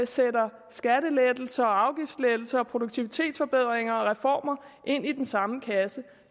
sætter skattelettelser og afgiftslettelser og produktivitetsforbedringer og reformer ind i den samme kasse